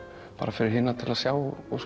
fyrir hina til að sjá og